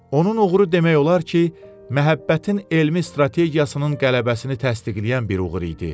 Onun uğuru demək olar ki, məhəbbətin elmi strategiyasının qələbəsini təsdiqləyən bir uğur idi.